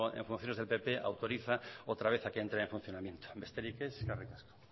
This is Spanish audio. en funciones del pp autoriza otra vez a que entre en funcionamiento besterik ez eskerrik asko